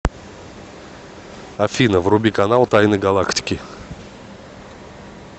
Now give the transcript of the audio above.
афина вруби канал тайны галактики